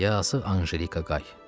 Yazıq Anjelika Qay.